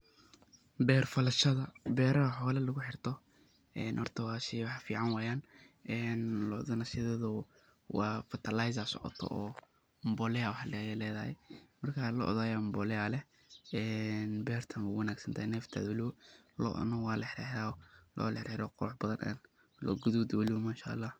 Beer falashada Ina xoola lagu xeertoh hoorta wa sheey fican ini sethethu wa fertilizer oo maaragtay Aya leedahay amboleeya beerta wa wangsantahay looda amnika wa la xeerxeerah loo guuthut waye manshaalah.